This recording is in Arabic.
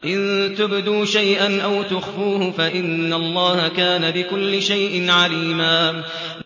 إِن تُبْدُوا شَيْئًا أَوْ تُخْفُوهُ فَإِنَّ اللَّهَ كَانَ بِكُلِّ شَيْءٍ عَلِيمًا